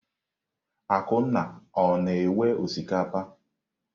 Akunna o-na ewe osikapa?